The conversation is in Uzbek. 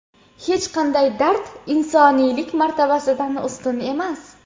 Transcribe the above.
Hech qanday dard insoniylik martabasidan ustun emas.